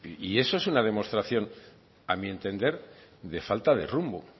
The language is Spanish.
y eso es una demostración a mi entender de falta de rumbo